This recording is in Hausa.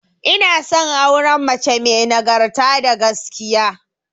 Ina son auren mace may nagarta da gaskiya